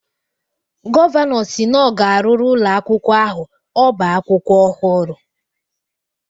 Gọvanọ si na ọ ga-arụrụ ụlọ akwụkwọ ahụ ọba akwụkwọ ọhụrụ